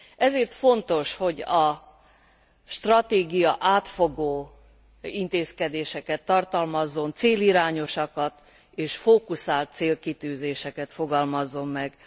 Ezért fontos, hogy a stratégia átfogó intézkedéseket tartalmazzon, célirányosakat és fókuszált célkitűzéseket fogalmazzon meg.